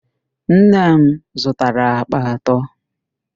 Nne m zụtara àkpà atọ.